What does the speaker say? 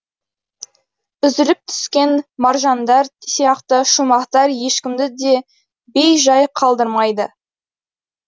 үзіліп түскен маржандар сияқты шумақтар ешкімді де бей жай қалдырмайды